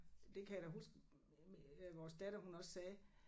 Det kan jeg da huske øh vores datter hun også sagde